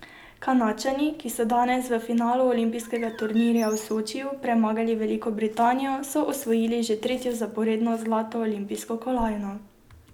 Kanadčani, ki so danes v finalu olimpijskega turnirja v Sočiju premagali Veliko Britanijo, so osvojili že tretjo zaporedno zlato olimpijsko kolajno.